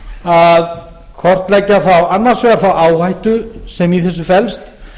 að kortleggja þá annars vegar þá áhættu sem í þessu felst